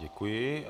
Děkuji.